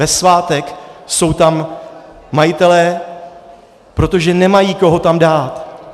Ve svátek jsou tam majitelé, protože nemají koho tam dát.